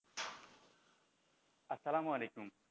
আসসালাম আলাইকুম,